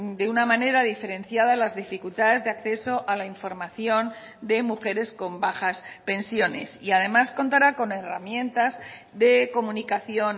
de una manera diferenciada las dificultades de acceso a la información de mujeres con bajas pensiones y además contará con herramientas de comunicación